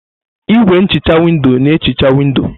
Igwé nhicha windo na-ehicha windò.